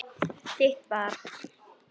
Þitt barn.